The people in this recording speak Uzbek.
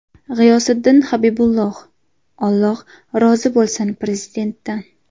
G‘iyosiddin Habibulloh: Alloh rozi bo‘lsin Prezidentdan.